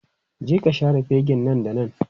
Je ka share fegin nan da nan!